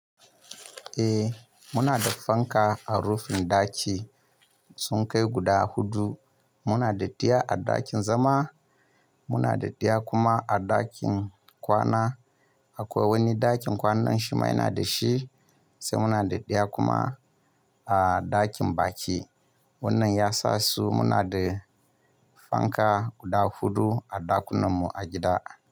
Eh muna da fanka a rufin ɗaki sun kai guda huɗu. Muna da ɗaya a ɗakin zama, muna da ɗaya kuma a ɗakin kwana akwai wani ɗakin kwanan shima yana da shi sai muna da ɗaya kuma a ɗakin baƙi wannan yasa su muna da fanka guda huɗu a ɗakunan mu a gida.